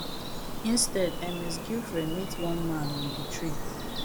instead ms giuffre meet one man on di trip